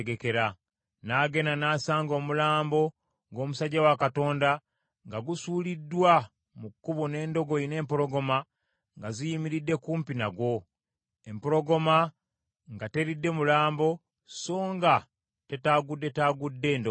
Nagenda n’asanga omulambo gw’omusajja wa Katonda nga gusuuliddwa mu kkubo n’endogoyi n’empologoma nga ziyimiridde kumpi nagwo; empologoma nga teridde mulambo so nga tetaaguddetaagudde ndogoyi.